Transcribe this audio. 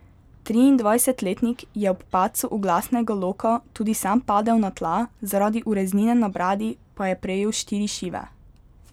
Triindvajsetletnik je ob padcu oglasnega loka tudi sam padel na tla, zaradi ureznine na bradi pa je prejel štiri šive.